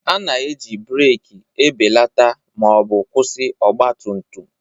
A na-eji breeki ebelata ma ọ bụ kwụsị ọgba tum tum